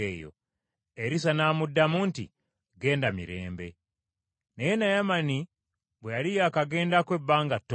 Erisa n’amuddamu nti, “Genda mirembe.” Omululu gwa Gekazi n’Ekibonerezo kye Naye Naamani bwe yali yakagendako ebbanga ttono,